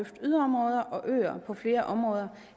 yderområder og øer på flere områder